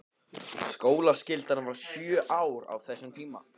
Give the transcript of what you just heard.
Skólaskyldan var sjö ár á þessum tíma.